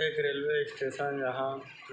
एक railway station जहाँ